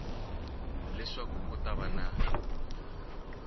leswaku ku ta va ni